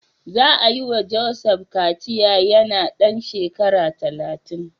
Za a yi wa Joseph kaciya yana ɗan shekara talatin.